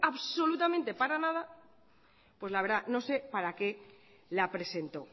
absolutamente para nada pues la verdad no sé para qué la presentó